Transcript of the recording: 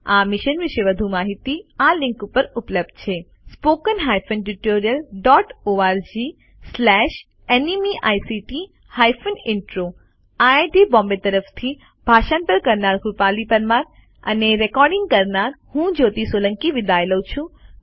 આ મિશન વિશે વધુ માહીતી આ લીંક ઉપર ઉપલબ્ધ છે httpspoken tutorialorgNMEICT Intro IIT Bombay તરફથી ભાષાંતર કરનાર હું કૃપાલી પરમાર વિદાય લઉં છું